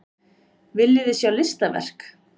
Viljiði sjá listaverk?